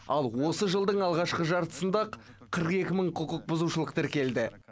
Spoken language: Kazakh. ал осы жылдың алғашқы жартысында ақ қырық екі мың құқықбұзушылық тіркелді